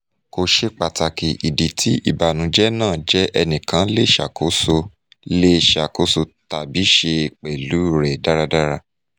ko ṣe pataki idi ti ibanujẹ naa jẹ ẹnikan le ṣakoso le ṣakoso tabi ṣe pẹlu rẹ daradara